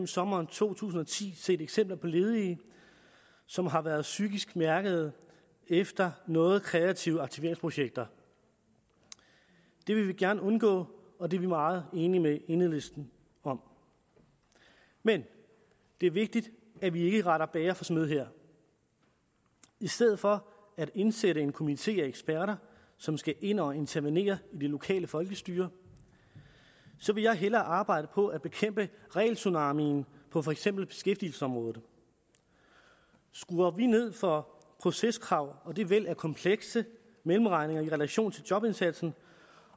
sommeren to tusind og ti set eksempler på ledige som har været psykisk mærkede efter noget kreative aktiveringsprojekter det vil vi gerne undgå og det er vi meget enige med enhedslisten om men det er vigtigt at vi ikke retter bager for smed her i stedet for at indsætte en komité af eksperter som skal ind og intervenere i det lokale folkestyre vil jeg hellere arbejde på at bekæmpe regeltsunamien på for eksempel beskæftigelsesområdet skruer vi ned for proceskrav og det væld af komplekse mellemregninger i relation til jobindsatsen